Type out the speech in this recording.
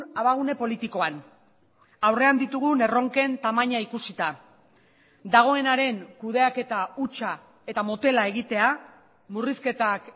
abagune politikoan aurrean ditugun erronken tamaina ikusita dagoenaren kudeaketa hutsa eta motela egitea murrizketak